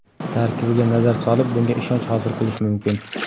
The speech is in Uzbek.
Tarkibiga nazar solib, bunga ishonch hosil qilish mumkin.